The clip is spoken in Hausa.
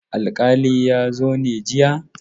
Alkalin ya zo ne jiya?